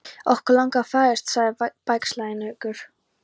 Okkur langar að fræðast sagði Bægslagangur.